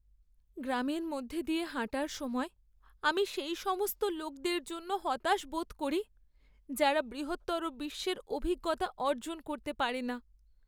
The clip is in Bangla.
গ্রামের মধ্যে দিয়ে হাঁটার সময়, আমি সেই সমস্ত লোকদের জন্য হতাশ বোধ করি যারা বৃহত্তর বিশ্বের অভিজ্ঞতা অর্জন করতে পারে না।